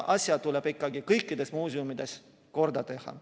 Asjad tuleb ikka kõikides muuseumides korda teha.